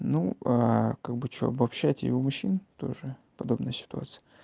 ну как бы что обобщайте и у мужчин тоже в подобной ситуации